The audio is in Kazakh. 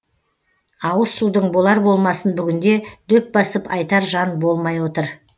ауыз судың болар болмасын бүгінде дөп басып айтар жан болмай отыр